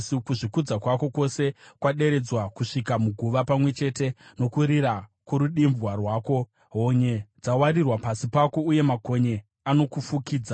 Kuzvikudza kwako kwose kwaderedzwa kusvika muguva, pamwe chete nokurira kworudimbwa rwako; honye dzawarirwa pasi pako uye makonye anokufukidza.